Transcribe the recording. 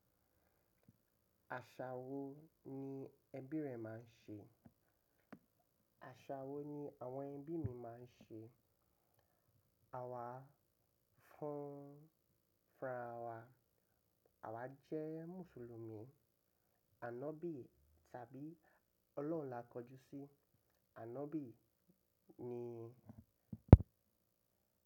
Àṣà wo ni ẹbí rẹ máa ń ṣe? Àṣà wo ni àwọn ẹbí mi máa ń ṣe? Àwa fún arawa, àwa jẹ́ Mùsùlùmí. Ànọ́bì tàbí Ọlọ́run là kọjú sí. Ànọ́bì ni.